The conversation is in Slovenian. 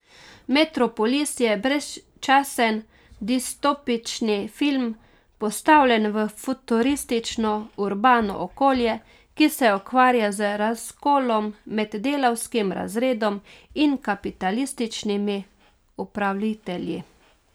Metropolis je brezčasen distopični film, postavljen v futuristično urbano okolje, ki se ukvarja z razkolom med delavskim razredom in kapitalističnimi upravitelji.